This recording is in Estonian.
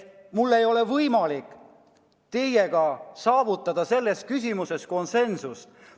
Mul ei ole võimalik saavutada teiega selles küsimuses konsensust.